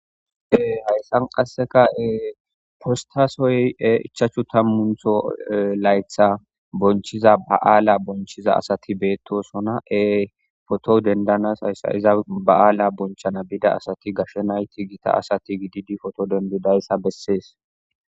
ee hayssan qassekae postasoy e ichachu tammuntho laytha bonchiza ba7aala bonchiza asati beettosona ee foto dendanas hayssa iza ba7aala bonchana bida asati gashe nayti gita asati gididi foto dendudayssa bessees